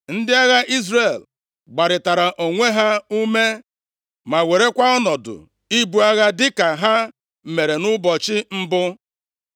Ndị agha Izrel gbarịtara onwe ha ume, ma werekwa ọnọdụ ibu agha dịka ha mere nʼụbọchị mbụ.